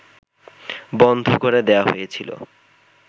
বন্ধ করে দেয়া হয়েছিল